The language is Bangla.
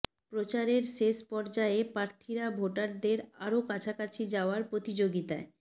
প্রচারের শেষ পর্যায়ে প্রার্থীরা ভোটারদের আরও কাছাকাছি যাওয়ার প্রতিযোগিতায়